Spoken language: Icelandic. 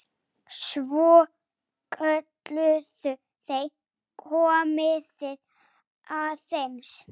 Svo kölluðu þeir: Komiði aðeins!